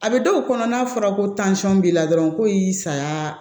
A bɛ dɔw kɔnɔ n'a fɔra ko b'i la dɔrɔn ko i y'i saya